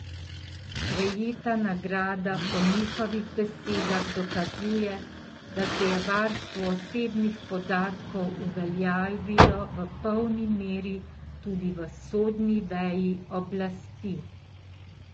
Prejeta nagrada po njihovih besedah dokazuje, da se je varstvo osebnih podatkov uveljavilo v polni meri tudi v sodni veji oblasti.